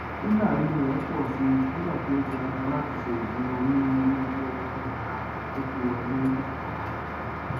hílàhílo rẹ pọ sí nígbà tí o tiraka látí se ìsúná onírúurú owó olómìnira tó tó wọlé lósù kọkan